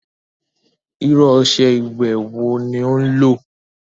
Irú ọṣẹ ìwẹ̀ wo ní o lò?